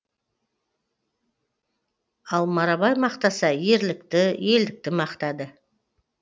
ал марабай мақтаса ерлікті елдікті мақтады